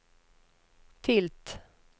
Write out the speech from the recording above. tilt